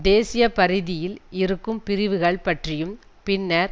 தேசிபரீதியில் இருக்கும் பிரிவுகள் பற்றியும் பின்னர்